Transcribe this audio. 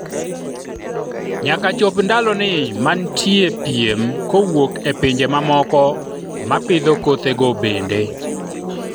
nyaka chop ndaloni manitie piem kowuok e pinje mamoko ma pidho kothe go bende